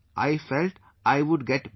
I felt I would get better